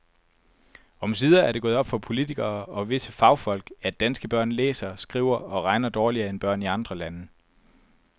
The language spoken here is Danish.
Omsider er det gået op for politikere og visse fagfolk, at danske børn læser, skriver og regner dårligere end børn i andre lande.